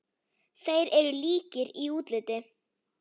Þeir eru líkir í útliti.